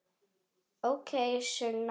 Ókei, Sunna.